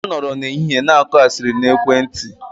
Ha nọrọ n'ehihie gosiping na ekwentị